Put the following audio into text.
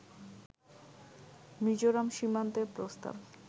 মিজোরাম সীমান্তের প্রস্তাব